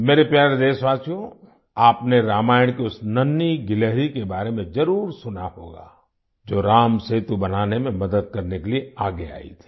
मेरे प्यारे देशवासियो आपने रामायण की उस नन्हीं गिलहरी के बारे में जरुर सुना होगा जो रामसेतु बनाने में मदद करने के लिए आगे आई थी